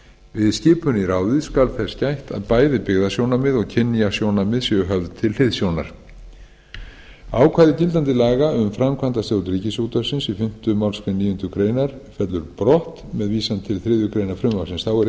við skipun í ráðið skal þess gætt að bæði byggðasjónarmið og kynjasjónarmið séu höfð til hliðsjónar ákvæði gildandi laga um framkvæmdastjórn ríkisútvarpsins í fimmta málsgrein níundu grein fellur brott með vísan til þriðju greinar frumvarpsins þá er einnig